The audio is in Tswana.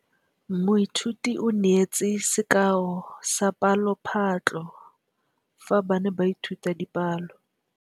Moithuti o neetse sekaô sa palophatlo fa ba ne ba ithuta dipalo.